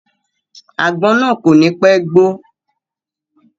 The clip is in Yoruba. Àgbọn náà kò ní pẹ́ gbó.